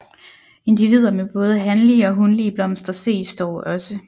Individer med både hanlige og hunlige blomster ses dog også